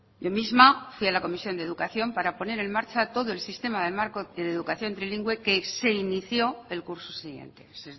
yo misma fui a la comisión de educación para poner en marcha todo el sistema del marco y de educación trilingüe que se inició el curso siguiente es